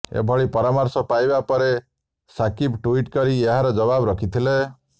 ଏଭଳି ପରାମର୍ଶ ପାଇବା ପରେ ସାକିବ୍ ଟ୍ୱିଟ୍ କରି ଏହାର ଜବାବ ରଖିଥିଲେ